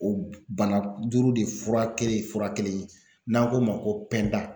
O bana duuru de fura kelen fura kelen ye n'an k'o ma ko